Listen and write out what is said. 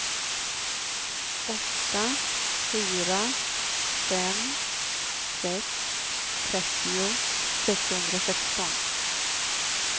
åtta fyra fem sex trettio sexhundrasexton